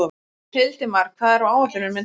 Hildimar, hvað er á áætluninni minni í dag?